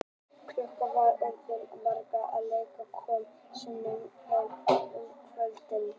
Klukkan var orðin margt þegar Lilla kom loksins heim um kvöldið.